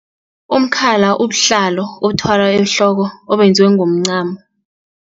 Umkhala ubuhlalo obuthwalwa ehloko obenziwe ngomncamo.